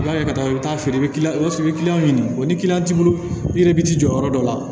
U b'a kɛ ka taa i bɛ taa feere o y'a sɔrɔ i bɛ ɲini o ni t'i bolo i yɛrɛ bɛ t'i jɔ yɔrɔ dɔ la